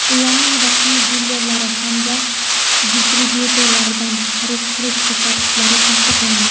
ularning rasmiy dilerlari hamda distribyutorlaridan xarid qilish ko‘rsatkichlari tasdiqlandi.